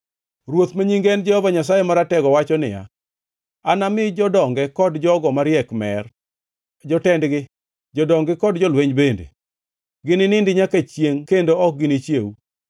Ruoth, ma nyinge en Jehova Nyasaye Maratego wacho niya, “Anami jodonge kod jogo mariek mer, jotendgi, jodong-gi kod jolweny bende; gininindi nyaka chiengʼ kendo ok ginichiew.”